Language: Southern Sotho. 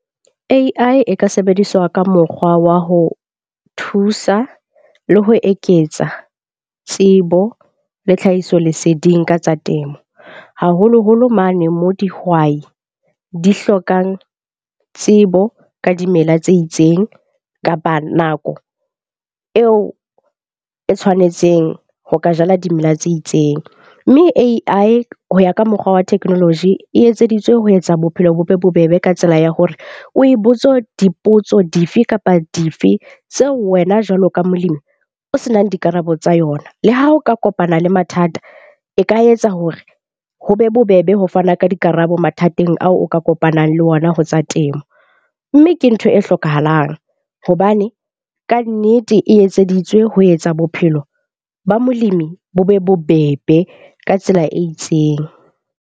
A_I e ka sebediswa ka mokgwa wa ho thusa le ho eketsa tsebo le tlhahisoleseding ka tsa temo, haholoholo mane mo dihwai di hlokang tsebo ka dimela tse itseng kapa nako eo e tshwanetseng ho ka jala dimela tse itseng. Mme A_I, ho ya ka mokgwa wa technology e etseditswe ho etsa bophelo bo be bobebe ka tsela ya hore, o e botse dipotso dife kapa dife tseo wena jwalo ka molemi o senang dikarabo tsa yona. Le ha o ka kopana le mathata, e ka etsa hore ho be bobebe ho fana ka dikarabo mathateng ao o ka kopanang le ona ho tsa temo. Mme ke ntho e hlokahalang hobane kannete e etseditswe ho etsa bophelo ba molemi bo be bobebe ka tsela e itseng.